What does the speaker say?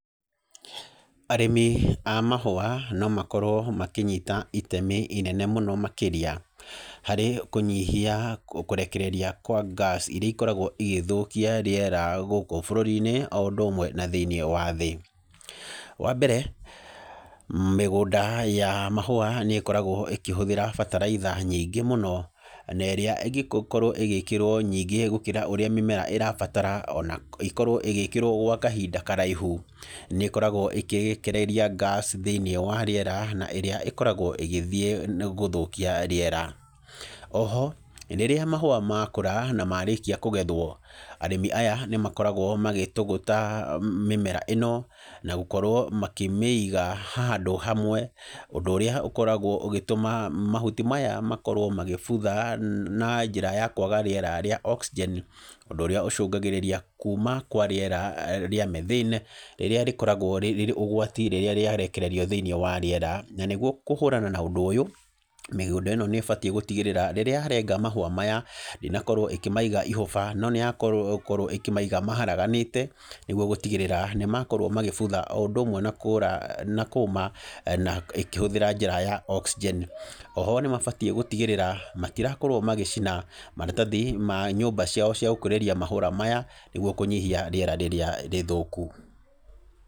Arĩmi a mahũa, no makorwo makĩnyita itemi inene mũno makĩria, harĩ kũnyihia kũrekereria kwa gas irĩa ikoragwo igĩthũkia rĩera gũkũ bũrũri-inĩ o ũndũ ũmwe na thĩiniĩ wa thĩ. Wa mbere, mĩgũnda ya mahũa nĩ ĩkoragwo ĩkĩhũthĩra bataraitha nyingĩ mũno, na ĩrĩa ĩngĩkorwo ĩgĩkĩrwo nyingĩ gũkĩra ũrĩa mĩmera ĩrabatara, ona ĩkorwo ĩgĩkĩrwo gwa kahinda karaihu, nĩ ĩkoragwo ĩkĩrehereria gas thĩiniĩ wa rĩera, na ĩrĩa ĩkoragwo ĩgĩthiĩ na gũthũkia rĩera. Oho, rĩrĩa mahũa makũra, na marĩkia kũgethwo, arĩmi aya nĩ makoragwo magĩtũgũtha mĩmera ĩno, na gũkorwo makĩmĩiga handũ kamwe, ũndũ ũrĩa ũkoragwo ũgĩtũma mahtu maya makorwo magĩbutha na njĩra ya kwaga rĩera rĩa oxygen, ũndũ ũrĩa ũcũngagĩrĩria kuuma kwa rĩera rĩa methyne, rĩrĩa rĩkoragwo rĩ ũgwati rĩrĩa rĩarekererio thĩiniĩ wa rĩera. Na nĩguo kũhũrana na ũndũ ũyũ, mĩgũnda ĩno nĩ ĩbatiĩ gũtigĩrĩra, rĩrĩa yarenga mahũa maya, ndĩnakorwo ĩkĩmaiga ihũba, no nĩ yakorwo ĩkĩmaiga maharaganĩte, nĩguo gũtigĩrĩra, nĩ makorwo magĩbutha, o ũndũ ũmwe na kũũra na kũũma, na ĩkĩhũthĩra njĩra ya oxygen. Oho nĩ mabatiĩ gũtigĩrĩra, matirakorwo magĩcina maratathi ma nyũmba ciao cia gũkũrĩria mahũra maya, nĩguo kũnyihia rĩera r,irĩa rĩthũku.